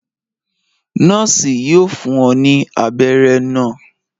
Nọọsi yóò fún ọ ní abéré náa